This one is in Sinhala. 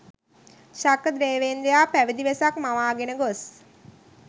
ශක්‍රදේවේන්ද්‍රයා පැවිදි වෙසක් මවාගෙන ගොස්